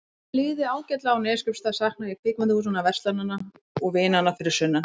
Þótt mér liði ágætlega á Neskaupstað saknaði ég kvikmyndahúsanna, verslananna og vinanna fyrir sunnan.